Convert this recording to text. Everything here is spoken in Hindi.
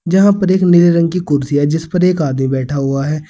जहां पर एक नीले रंग की कुर्सी है जिस पर एक आदमी बैठा हुआ है।